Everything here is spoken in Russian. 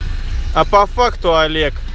а по факту олег